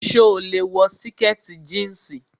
So lè wọ sìkẹ̀tì jíǹsì.